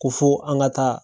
Ko fo an ka taa